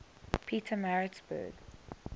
pietermaritzburg